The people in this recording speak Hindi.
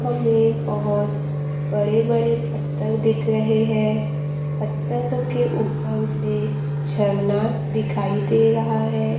हमे बहोत बड़े बड़े पत्थर दिख रहे है पत्थरों के ऊपर से झरना दिखाई दे रहा है।